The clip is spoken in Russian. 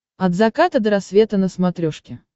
от заката до рассвета на смотрешке